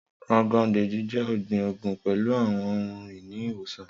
Rogon Daji jẹ ọgbin oogun pẹlu awọn ohun-ini iwosan.